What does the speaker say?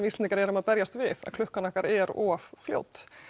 Íslendingar erum að berjast við að klukkan okkar er of fljót